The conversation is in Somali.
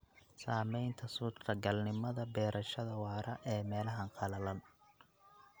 Saamaynta suurtagalnimada beerashada waara ee meelaha qalalan.